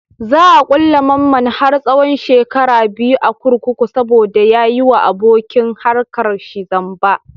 Za a ƙulle mamman har tsahon shekara biyu a kurkuku saboda ya yi wa abokin harkar shi zamba.